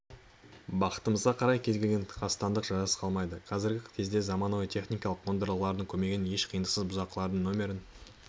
бақытымызға қарай кез-келген қастандық жазасыз қалмайды қазіргі кезде заманауи техникалық қондырғылардың көмегімен еш қиындықсыз бұзақылардың нөмірі